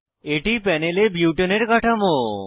এটি প্যানেলে বুটানে বিউটেন এর কাঠামো